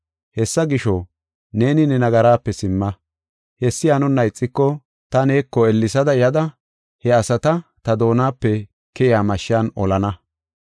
Hessa gisho, neeni ne nagaraape simma. Hessi hanonna ixiko, ta neeko ellesa yada he asata ta doonape keyiya mashshan olana.”